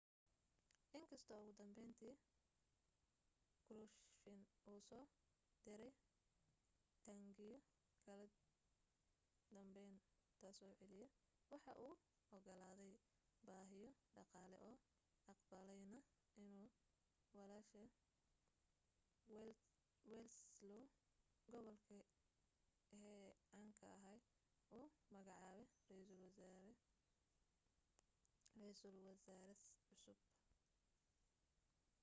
in kastoo ugu dambayntii krushchev uu soo diray taangiyo kala danbaynta soo celiya waxa uu ogolaaday baahiyo dhaqaale oo aqbalayna inuu wladyslaw gomulka hii caanka ahaa u magacaabo ra'iisal wasaare cusub